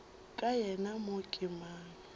ka yena mo ke mang